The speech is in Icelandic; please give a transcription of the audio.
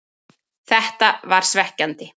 Þetta var svekkjandi,